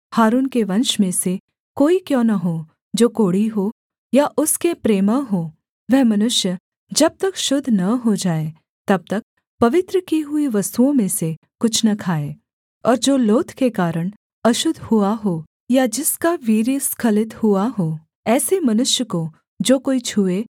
हारून के वंश में से कोई क्यों न हो जो कोढ़ी हो या उसके प्रमेह हो वह मनुष्य जब तक शुद्ध न हो जाए तब तक पवित्र की हुई वस्तुओं में से कुछ न खाए और जो लोथ के कारण अशुद्ध हुआ हो या जिसका वीर्य स्खलित हुआ हो ऐसे मनुष्य को जो कोई छूए